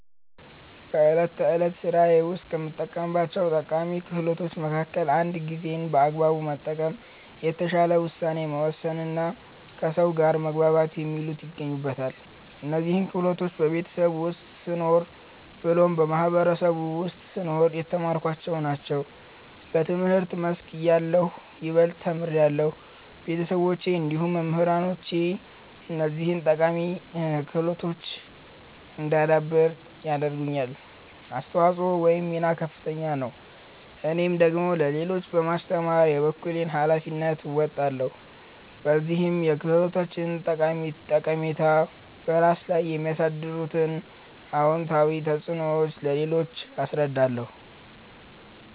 በእለት ተዕለት ስራዬ ውስጥ ከምጠቀማቸው ጠቃሚ ክህሎቶች መከከል እንደ ጊዜን በአግባቡ መጠቀም፣ የተሻለ ውሳኔ መወሰንና ከሰው ጋር መግባባት የሚሉት ይገኙበታል። እነዚህን ክህሎቶች በቤተሰብ ውስጥ ስኖር ብሎም በማህበረሰቡ ውስጥ ስኖር የተማርኳቸውን ናቸው። በትምህርት መስክ እያለሁ ይበልጥ ተምሬያለሁ። ቤተሰቦቼ እንዲሁም መምህራኖቼ እነዚህን ጠቃሚ ክህሎቶች እዳዳብር ያደረጉት አስተዋጽኦ ወይም ሚና ከፍተኛ ነው። እኔም ደግሞ ለሌሎች በማስተማር የበኩሌን ሀላፊነት እወጣለሁ። በዚህም የክህሎቶችን ጠቃሚታ፤ በራስ ላይ የሚያሳድሩት አወንታዊ ተፅዕኖዎች ለሌሎች አስረዳለሁ።